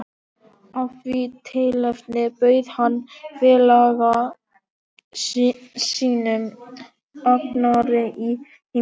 Af því tilefni bauð hann félaga sínum, Agnari, í heimsókn.